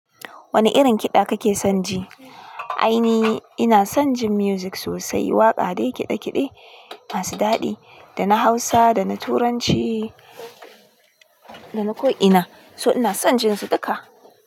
Wani irin kiɗa kake son ji? Ai ni ina son jin music sosai. Waƙa dai kiɗe-kiɗe masu daɗi, dana Hausa, dana Turanci dana ko ina. So ina son jin su duka.